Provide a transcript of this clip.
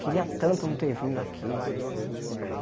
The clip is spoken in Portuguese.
Queria tanto não ter vindo aqui.